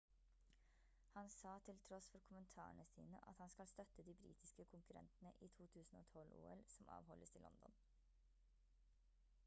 han sa til tross for kommentarene sine at han skal støtte de britiske konkurrentene i 2012-ol som avholdes i london